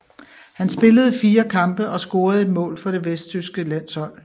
Han spillede fire kampe og scorede ét mål for det vesttyske landshold